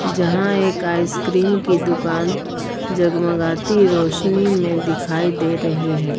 यहां एक आइसक्रीम की दुकान जगमगाती रोशनी में दिखाई दे रही है।